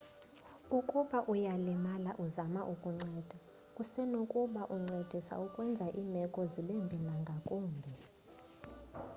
ukuba uyalimala uzama ukunceda usenokuba uncedisa ukwenza iimeko zibembi nangakumbi